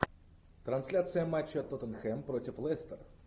трансляция матча тоттенхэм против лестер